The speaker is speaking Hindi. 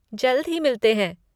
जल्द ही मिलते हैं।